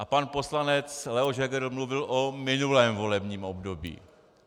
A pan poslanec Leoš Heger mluvil o minulém volebním období.